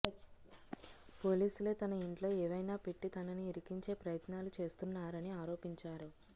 పోలీసులే తన ఇంట్లో ఏవైనా పెట్టి తనను ఇరికించే ప్రయత్నాలు చేస్తున్నారని ఆరోపించారు